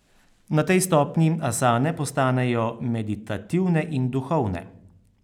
Na tej stopnji asane postanejo meditativne in duhovne.